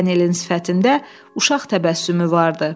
Pagalın sifətində uşaq təbəssümü vardı.